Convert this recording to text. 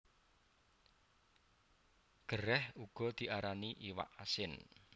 Gerèh uga diarani iwak asin